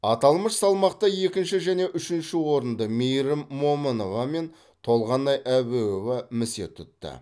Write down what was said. аталмыш салмақта екінші және үшінші орынды мейірім момынова мен толғанай әбеуова місе тұтты